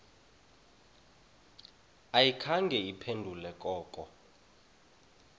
ayikhange iphendule koko